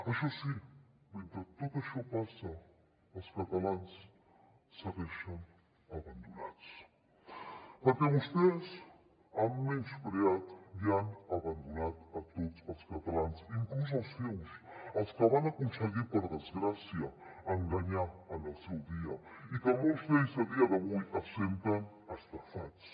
això sí mentre tot això passa els catalans segueixen abandonats perquè vostès han menyspreat i han abandonat tots els catalans inclús els seus els que van aconseguir per desgràcia enganyar en el seu dia i que molts d’ells a dia d’avui es senten estafats